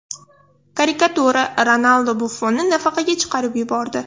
Karikatura: Ronaldu Buffonni nafaqaga chiqarib yubordi .